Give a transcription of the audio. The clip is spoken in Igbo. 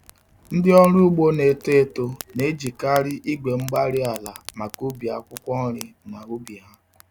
Ndị ọrụ ugbo na-eto eto n'eji karị igwe-mgbárí-ala maka ubi akwụkwọ nri na ubi ha.